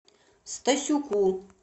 стасюку